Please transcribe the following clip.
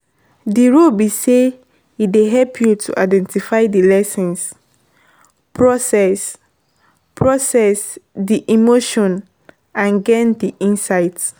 di role be say e dey help you to identify di lessons, process process di emotions and gain di insights.